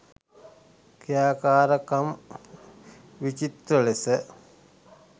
ක්‍රියාකාරකම් විචිත්‍ර ලෙස